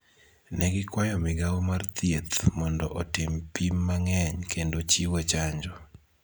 Ne gikwayo Migao mar Thieth mondo otim pim mang�eny kendo chiwo chanjo